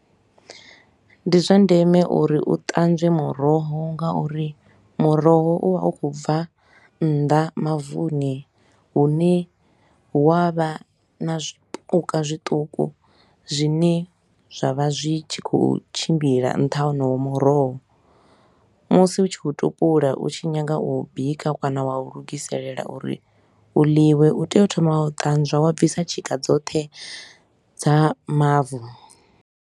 Ndi zwa ndeme uri u ṱanzwe muroho ngauri muroho u vha u khou bva nnḓa mavuni hune hu a vha na zwipuka zwiṱuku zwine zwa vha zwi tshi khou tshimbila nṱha ha wonowo muroho. Musi u tshi u tupula u tshi nyaga u u bika kana wa u lugiselela uri u ḽiwe, u tea u thoma wa u ṱanzwa, wa bvisa tshika dzoṱhe dza mavu.